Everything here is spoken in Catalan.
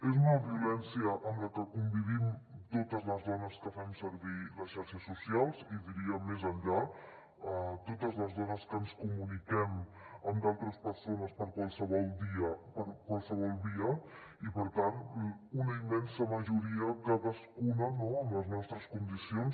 és una violència amb la que convivim totes les dones que fem servir les xarxes socials i diria més enllà totes les dones que ens comuniquem amb d’altres persones per qualsevol via i per tant una immensa majoria cadascuna amb les nostres condicions